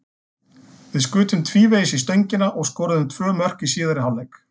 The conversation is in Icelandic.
Við skutum tvívegis í stöngina og skoruðum tvö mörk í síðari hálfleik.